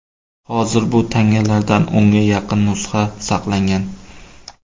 Hozir bu tangalardan o‘nga yaqin nusxa saqlangan.